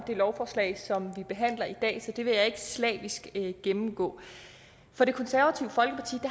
lovforslag som vi behandler i dag så det vil jeg ikke slavisk gennemgå for det konservative folkeparti